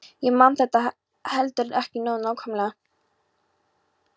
Ég man þetta heldur ekki nógu nákvæmlega.